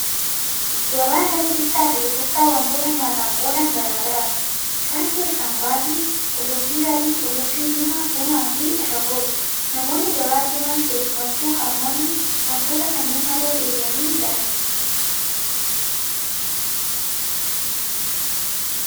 Gabaan lafa bittaa fi gurgurtaa waantota nyaataaf oolan garaa garaati. Isaan keessaa muraasni qullubbii adii, qullubbii diimaa, buna fi ashaboodha. Namoonni gabaa deeman keessumattuu harmoonni waantota kanneen malee deebi'anii hin galani.